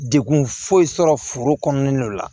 Degun foyi sɔrɔ foro kɔnɔna la